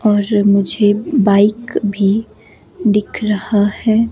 और मुझे बाइक भी दिख रहा है।